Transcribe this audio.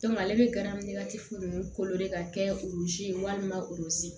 ale bɛ garini kolo de ka kɛ loze ye walima olu si